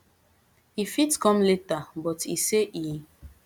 e fit come later but e say e